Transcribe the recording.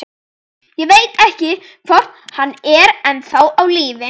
Ég veit ekki, hvort hann er ennþá á lífi.